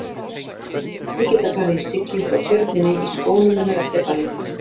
Hún og Nikki geta farið í siglingu á Tjörninni í skónum hennar eftir ballið.